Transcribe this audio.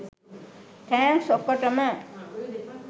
thanks ඔක්කොටම